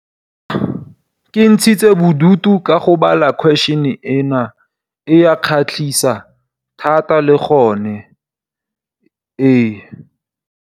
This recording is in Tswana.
Ke ntshitse bodutu ka go bala question ena, e ya kgatlhisa, thata le gone ee.